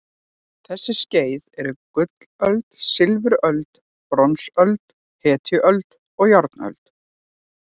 Þessi skeið eru gullöld, silfuröld, bronsöld, hetjuöld og járnöld.